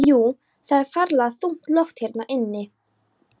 Jú, það er ferlega þungt loft hérna inni.